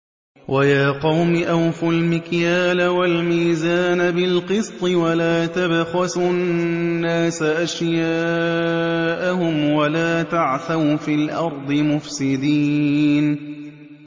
وَيَا قَوْمِ أَوْفُوا الْمِكْيَالَ وَالْمِيزَانَ بِالْقِسْطِ ۖ وَلَا تَبْخَسُوا النَّاسَ أَشْيَاءَهُمْ وَلَا تَعْثَوْا فِي الْأَرْضِ مُفْسِدِينَ